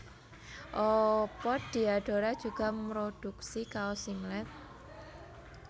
Apa Diadora juga mroduksi kaos singlet